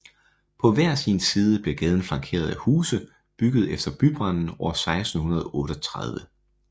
På hver sin side bliver gaden flankeret af huse bygget efter bybranden år 1638